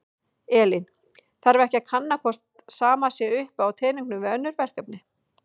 Elín: Þarf ekki að kanna hvort sama sé upp á teningnum við önnur verkefni?